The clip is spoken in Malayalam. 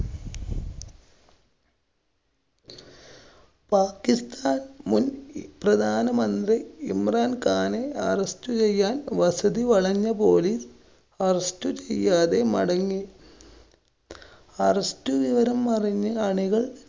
പാക്കിസ്ഥാന്‍ മുന്‍ പ്രധാനമന്ത്രി ഇമ്രാന്‍ ഖാനെ arrest ചെയ്യാന്‍ വസതി വളഞ്ഞ police, arrest ചെയ്യാതെ മടങ്ങി. arrest വിവരം അറിഞ്ഞ് അണികള്‍